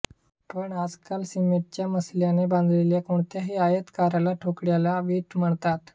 पण आजकाल सिमेंटच्या मसाल्याने बांधलेल्या कोणत्याही आयताकार ठोकळ्याला वीट म्हणतात